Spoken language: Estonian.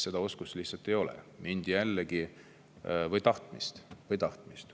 Seda oskust lihtsalt ei ole – või tahtmist.